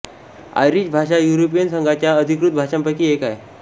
Irish भाषा European संघाच्या अधिकृत भाषांपैकी एक आहे